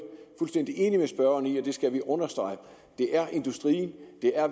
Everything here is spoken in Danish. fuldstændig enig med spørgeren i at vi skal understrege at det er industrien